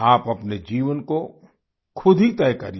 आप अपने जीवन को खुद ही तय करिए